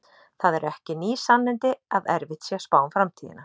Það eru ekki ný sannindi að erfitt sé að spá um framtíðina.